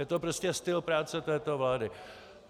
Je to prostě styl práce této vlády.